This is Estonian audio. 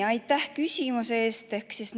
Aitäh küsimuse eest!